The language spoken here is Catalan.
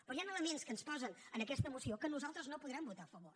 però hi han elements que ens posen en aquesta moció que nosaltres no podrem votar a favor